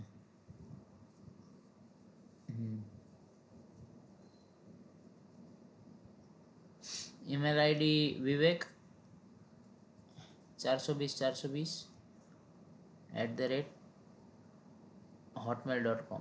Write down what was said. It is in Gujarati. email ID વિવેક ચારસો બીસ ચારસો બીસ at hotmail dot com